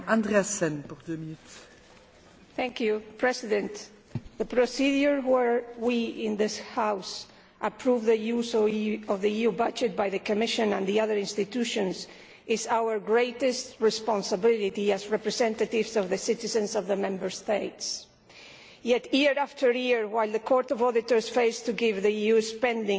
Madam President, the procedure whereby we in this House approve the use of the EU budget by the Commission and the other institutions is our greatest responsibility as representatives of the citizens of the Member States. Yet, year after year, while the Court of Auditors fails to give the EU spending a clean bill of health,